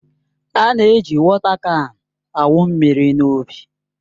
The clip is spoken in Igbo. A na-eji wọta kan awụ mmiri n'ubi